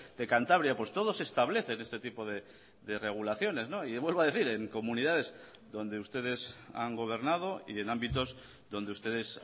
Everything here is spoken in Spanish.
de cantabria pues todos establecen este tipo de regulaciones y vuelvo a decir en comunidades donde ustedes han gobernado y en ámbitos donde ustedes